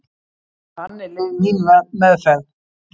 Þannig leið mín meðferð.